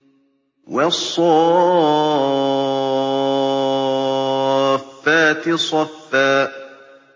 وَالصَّافَّاتِ صَفًّا